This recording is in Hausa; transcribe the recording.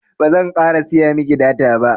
bazan ƙara siya miki data ba